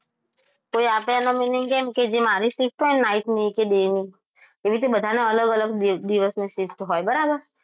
કોઈ આપે એનો મતલબ એમ કે જે મારી shift હોય ને night ની કે day ની એ રીતે બધાને અલગ અલગ દિવસની shift હોય બરાબર